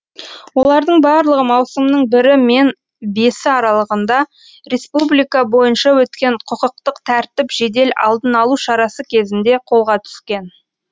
олардың барлығы маусымның бірі мен бесі аралығында республика бойынша өткен құқықтық тәртіп жедел алдын алу шарасы кезінде қолға түскен